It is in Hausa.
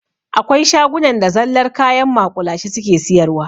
Akwai shagunan da zallar kayan maƙulashe suke siyarwa.